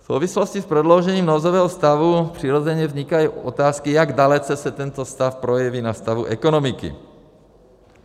V souvislosti s prodloužením nouzového stavu přirozeně vznikají otázky, jak dalece se tento stav projeví na stavu ekonomiky.